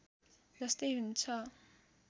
जस्तै हुन्छ